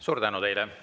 Suur tänu teile!